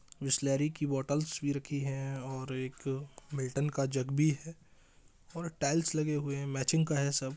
बिसलेरी की बॉटल्स भी रखी है और एक मिल्टन का जग भी है और टाइल्स लगे हुए हैं मैचिंग का है सब।